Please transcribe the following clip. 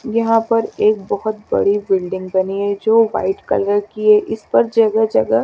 यहाँ पर एक बहोत बड़ी बिल्डिंग बनी है जो वाईट कलर कि है इस पर जगह जगह--